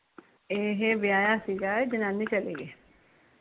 ਏਹ ਵਿਆਹਾਂ ਸੀ ਜਨਾਨੀ ਚੱਲ ਗਈ